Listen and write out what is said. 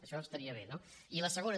això estaria bé no i la segona